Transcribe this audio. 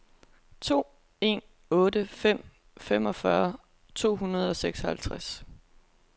to en otte fem femogfyrre to hundrede og seksoghalvfjerds